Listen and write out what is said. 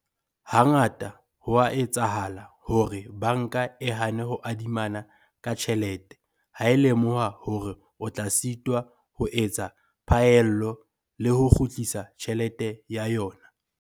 Hangata ho a etsahala hore banka e hane ho adimana ka tjhelete ha e lemoha hore o tla sitwa ho etsa phaello le ho kgutlisa tjhelete ya yona.